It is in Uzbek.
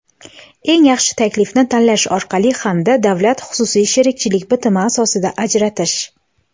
eng yaxshi taklifni tanlash orqali hamda davlat-xususiy sheriklik bitimi asosida ajratish;.